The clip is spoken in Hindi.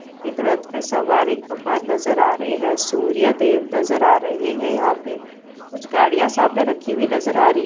एक रथ पर सवार एक भगवान नजर आ रहे हैं सूर्य देव नजर आ रहे हैं यहां पे। कुछ गाड़ियां सामने रखी हुई नजर आ रही --